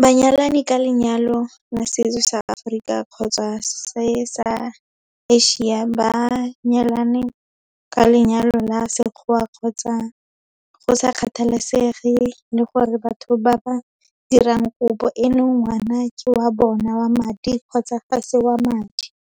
ba nyalane ka lenyalo la setso sa Seaforika kgotsa sa se-Asia, ba nyalane ka lenyalo la sekgoa kgotsa go sa kgathalesege le gore batho ba ba dirang kopo eno ngwana ke wa bona wa madi kgotsa ga se wa madi.